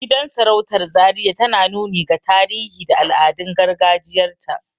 Gidan sarautar zaria tana nuni ga tarihi da al'adun gargajiyar ta